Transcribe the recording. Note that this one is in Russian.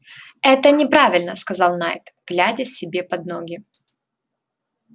это неправильно сказал найд глядя себе под ноги